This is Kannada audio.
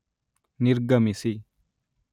ನಿರ್ಗಮಿಸಿ